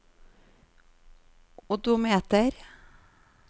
odometer